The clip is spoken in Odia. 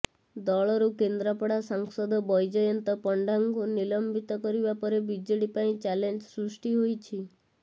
ଦଳରୁ କେନ୍ଦ୍ରାପଡା ସାଂସଦ ବୈଜୟନ୍ତ ପଣ୍ଡାଙ୍କୁ ନିଲମ୍ବିତ କରିବା ପରେ ବିଜେଡି ପାଇଁ ଚ୍ୟାଲେଞ୍ଜ ସୃଷ୍ଟି ହୋଇଛି